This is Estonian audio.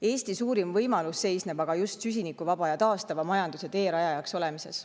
Eesti suurim võimalus seisneb aga just süsinikuvabale ja taastavale majandusele teerajajaks olemises.